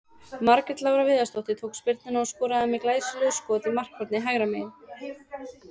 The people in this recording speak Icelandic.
Margrét Lára Viðarsdóttir tók spyrnuna og skoraði með glæsilegu skot í markhornið hægra megin.